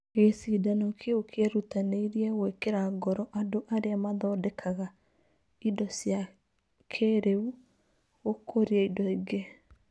Gĩcindano kĩu kĩerutanĩirie gwĩkĩra ngoro andũ arĩa mathondekaga indo cia kĩĩrĩu gũkũria indo ingĩ.